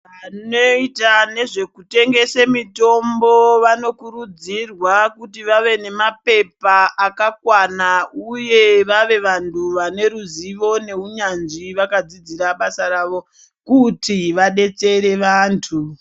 Vanoita nezvekutengese mitombo vanokurudzirwa kuti vave nemapepa akakwana uye vave vantu vane ruzivo neunyanzvi vakadzidzira basa rawo kuti vadetsere vantu.